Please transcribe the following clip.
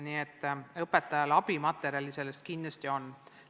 Nii et õpetajale abimaterjali kindlasti on.